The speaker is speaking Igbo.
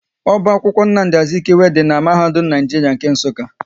Oba akwụkwọ Nnamdi Azikwe dị n'mahadum Naijiria nke Nsukka